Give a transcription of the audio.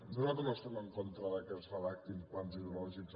nosaltres no estem en contra que es redactin plans hidrològics